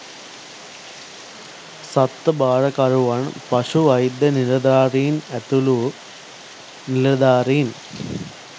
සත්ව භාරකරුවන් පශු වෛද්‍ය නිලධාරීන් ඇතුළු නිලධාරීන්